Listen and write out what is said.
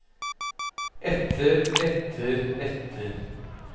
etter etter etter